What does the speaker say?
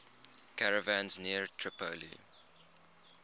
caravans near tripoli